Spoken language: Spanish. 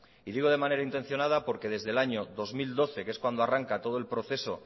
y digo de manera intencionada porque desde el año dos mil doce que es cuando arranca todo el proceso